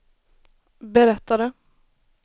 berättade